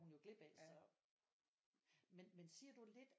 Hun jo glip af så men men siger du lidt